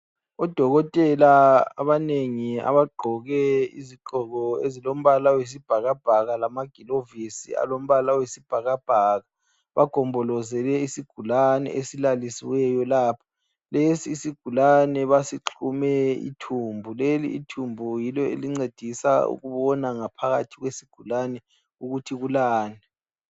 Odokotela abanengi abagqoke izigqoko ezilombala wesibhakabhaka lama glovisi alombala oyisibhakabhaka, bagombolozele isigulane esilalisiweyo lapha, lesi isigulane basixhume ithumbu, leli ithumbu yilo elincedisa ukubona ukuthi ngaphakathi kwesigulane ukuthi kulani.